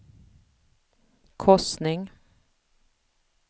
korsning